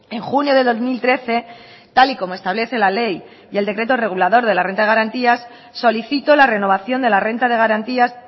en junio de dos mil trece tal y como establece la ley y el decreto regulador de la renta de garantías solicito la renovación de la renta de garantías